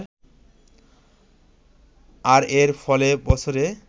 আর এর ফলে বছরে